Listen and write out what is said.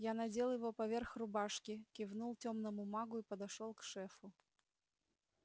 я надел его поверх рубашки кивнул тёмному магу и подошёл к шефу